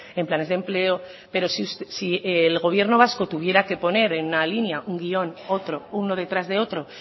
en planes de empleo pero si el gobierno vasco tuviera que poner en una línea un guión otro uno detrás de otro